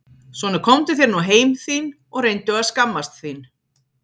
Svona komdu þér nú heim þín og reyndu að skammast þín!